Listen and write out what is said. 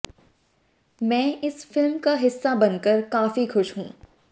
मैं इस फिल्म का हिस्सा बनकर काफी खुश हूं